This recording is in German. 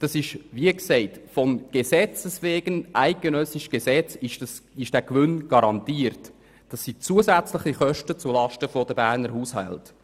Dieser ist aufgrund der eidgenössischen Gesetzgebung garantiert und geht als zusätzliche Kosten zulasten der Berner Haushalte.